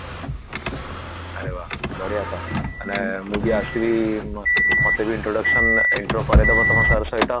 ଆରେ ବା ବଢିଆ ତ ମାନେ ମୁଁ ବି ଆସିବି ମତେ ବି introduction ମାନେ intro କରେଇଦବ ତମ sir ସହିତ